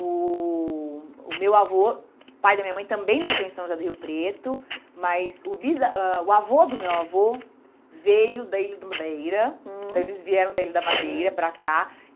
O o meu avô, pai da minha mãe, também nasceu em São José do Rio Preto, mas o bisa ãh o avô do meu avô veio da Ilha da Madeira, então eles vieram da Ilha da Madeira para cá.